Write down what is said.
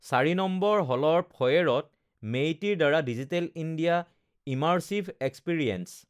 ৪ নং হলৰ ফয়েৰত MeITY ৰ দ্বাৰা ডিজিটেল ইণ্ডিয়া ইমাৰ্চিভ এক্সপিৰিয়েন্স